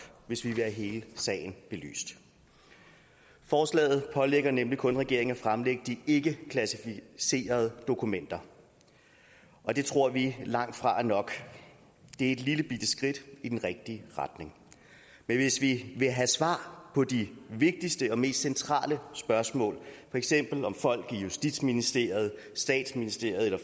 hvis vi vil have hele sagen belyst forslaget pålægger nemlig kun regeringen at fremlægge de ikkeklassificerede dokumenter og det tror vi langtfra er nok det er et lillebitte skridt i den rigtige retning men hvis vi vil have svar på de vigtigste og mest centrale spørgsmål for eksempel om folk i justitsministeriet statsministeriet eller